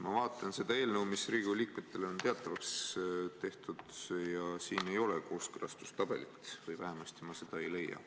Ma vaatan seda eelnõu, mis Riigikogu liikmetele on kättesaadavaks tehtud ja siin ei ole kooskõlastustabelit või vähemasti ma seda ei leia.